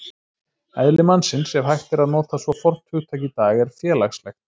Eðli mannsins, ef hægt er að nota svo fornt hugtak í dag, er félagslegt.